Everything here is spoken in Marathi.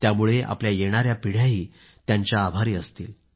त्यामुळे आपल्या येणाया पिढ्याही त्यांच्या आभारी असतील